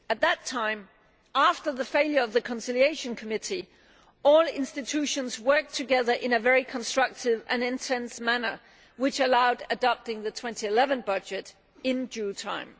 At that time, after the failure of the Conciliation Committee, all institutions worked together in a very constructive and intense manner, which allowed for the adoption of the 2011 budget in due time.